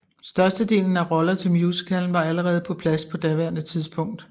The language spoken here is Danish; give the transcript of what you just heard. Størstedelen af roller til musicalen var allerede på plads på daværende tidspunkt